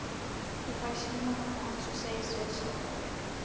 Ég fæ símanúmerið hans og segist verða í sambandi.